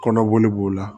Kɔnɔboli b'o la